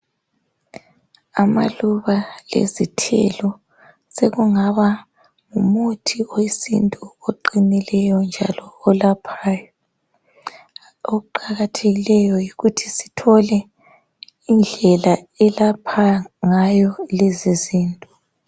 Amaluba lezithelo sekungaba ngumuthi wesintu oqinileyo njalo olaphayo. Okuqakathekileyo yikuthi sithole indlela elapha ngayo lezizinto.